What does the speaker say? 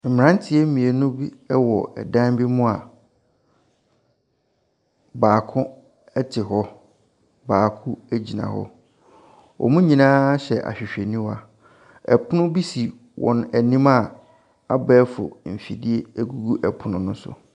Mmranteɛ mmienu bi wɔ ɛdan bi mu a,baako te hɔ, baako gyina hɔ, wɔn nyinaa hyehyɛ ahwehwɛniwa, ɛpono bi si wɔn anim a,abɛɛfo mfidie gugu pono no so.